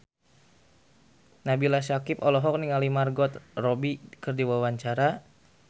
Nabila Syakieb olohok ningali Margot Robbie keur diwawancara